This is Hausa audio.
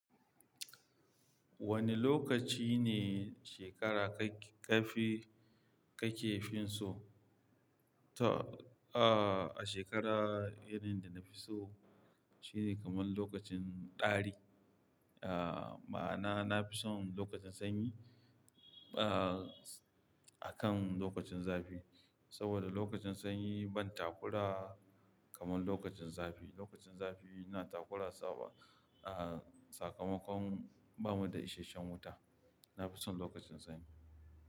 Wane lokaci ne shekara ka fi, ka ke fin so? Ta, shekara irin da na fi so shine kamar lokacin ɗari. Ah, ma na, na fi son lokacin sanyi, ah, akan lokacin zafi. Saboda lokacin sanyi ban takura kamar lokacin zafi. Lokacin zafi ina takura saboda, ah, sakamakon ba mu da isashen wuta. Na fi son lokacin sanyi.